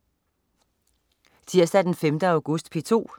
Tirsdag den 5. august - P2: